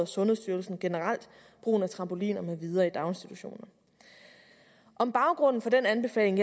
sundhedsstyrelsen generelt brugen af trampoliner med videre i daginstitutioner om baggrunden for den anbefaling